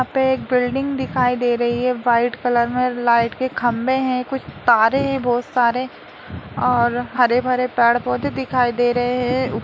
यहाँ पे एक बिल्डिंग दिखाई दे रही हैं वाइट कलर में लाइट के खम्भे हैं कुछ तारे हैं बहुत सारे और हरे भरे पेड़ पौधे दिखाई दे रहे हैं। उ --